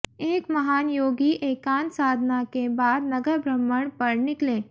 एक महान योगी एकांत साधना के बाद नगर भ्रमण पर निकले